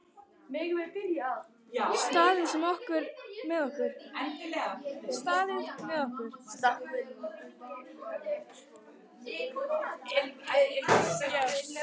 Staðið með okkur